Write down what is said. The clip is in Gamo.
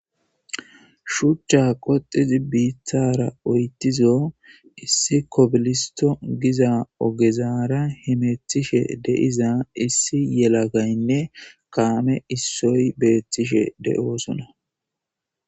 Shuchcha qoxizi biithara oytizo issi kobilisto giza ogezara himethishe deiza issi yelagaynne kaame issoy beethtishe de,oosona.